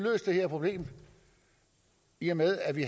det her problem i og med at vi